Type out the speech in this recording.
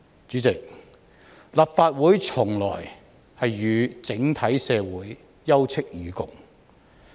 主席，立法會從來都與整體社會休戚與共。